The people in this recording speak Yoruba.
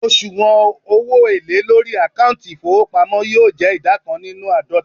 osuwon owo ele lori akanti ifowopamo yoo je ida kan ninu aadota